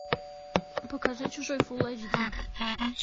покажи чужой фул эйч ди